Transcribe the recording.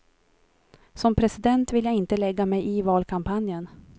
Som president vill jag inte lägga mig i valkampanjen.